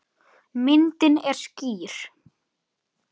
Myndin er skýr.